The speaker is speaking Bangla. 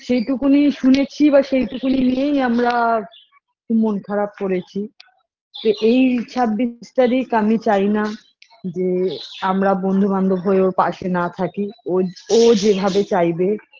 সেইটুকুনি শুনেছি বা সেইটুকুনি নিয়েই আমরা মন খারাপ করেছি এই ছাব্বিশ তারিখ আমি চাই না যে আমরা বন্ধুবান্ধব হয়েও পাশে না থাকি ওয ও যেভাব চাইবে